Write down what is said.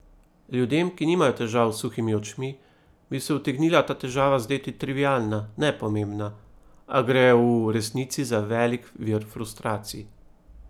Ljudem, ki nimajo težav s suhimi očmi, bi se utegnila ta težava zdeti trivialna, nepomembna, a gre v resnici za velik vir frustracij.